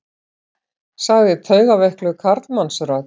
sagði taugaveikluð karlmannsrödd.